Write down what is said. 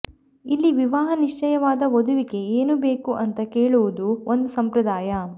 ಇಲ್ಲಿ ವಿವಾಹ ನಿಶ್ಚಯವಾದ ವಧುವಿಗೆ ಏನು ಬೇಕು ಅಂತಾ ಕೇಳುವುದು ಒಂದು ಸಂಪ್ರದಾಯ